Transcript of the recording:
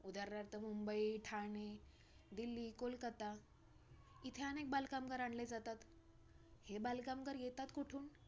उदारणार्थ मुंबई, ठाणे, दिल्ली, कोलकत्ता इथे अनेक बालकामगार आणले जातात, हे बालकामगार येतात कोठून